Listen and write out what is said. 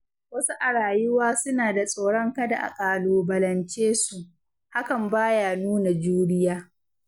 Wasu a rayuwa suna da tsoron kada a ƙalubalance su, hakan ba ya nuna juriya.